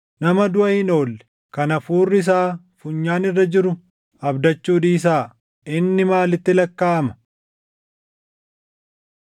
Nama duʼa hin oolle, kan hafuurri isaa funyaan irra jiru abdachuu dhiisaa. Inni maalitti lakkaaʼama?